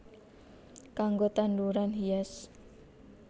Kanggo tanduran hias